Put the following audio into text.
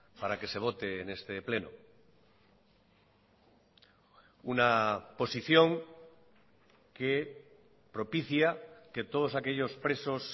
para que se vote en este pleno una posición que propicia que todos aquellos presos